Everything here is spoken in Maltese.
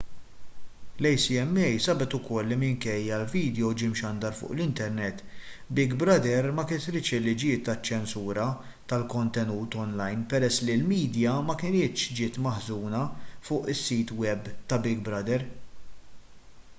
l-acma sabet ukoll li minkejja li l-vidjo ġie mxandar fuq l-internet big brother ma kisritx il-liġijiet taċ-ċensura tal-kontenut onlajn peress li l-midja ma kinitx ġiet maħżuna fuq is-sit web ta' big brother